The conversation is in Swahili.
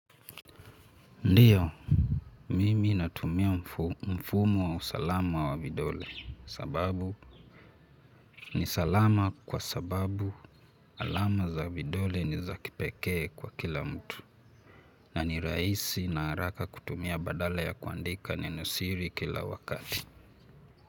Ndiyo, mimi natumia mfumo wa usalama wa vidole, sababu ni salama kwa sababu alama za vidole ni za kipekee kwa kila mtu, na ni rahisi na haraka kutumia badala ya kuandika nenosiri kila wakati.